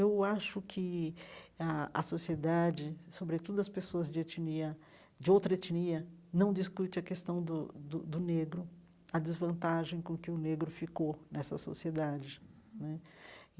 Eu acho que a a sociedade, sobretudo as pessoas de etnia, de outra etnia, não discute a questão do do do negro, a desvantagem com que o negro ficou nessa sociedade né.